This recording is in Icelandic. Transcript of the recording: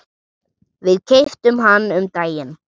Við keyptum hann um daginn.